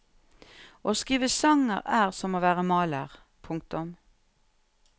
Å skrive sanger er som å være maler. punktum